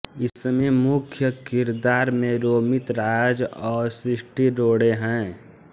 इसमें मुख्य किरदार में रोमित राज और सृष्टि रोड़े हैं